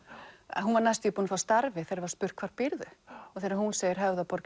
hún var næstum búin að fá starfið þegar var spurt hvar býrðu þegar hún segir Höfðaborg